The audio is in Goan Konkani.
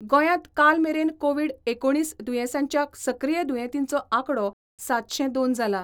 गोंयात कालमेरेन कोविड एकुणीस दुयेसाच्या सक्रिय दुयेतींचो आकडो सातशे दोन जाला.